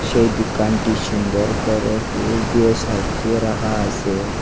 সেই দুকানটি সুন্দর করে ফুল দিয়ে সাজিয়ে রাখা আসে।